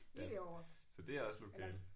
Ja. Så det er også lokalt